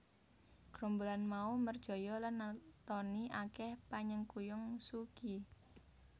Grombolan mau merjaya lan natoni akèh panyengkuyung Suu Kyi